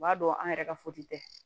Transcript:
O b'a dɔn an yɛrɛ ka tɛ